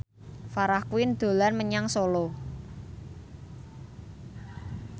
Farah Quinn dolan menyang Solo